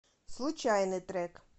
случайный трек